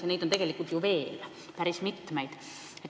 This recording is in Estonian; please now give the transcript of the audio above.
Ja neid on tegelikult veel päris mitu.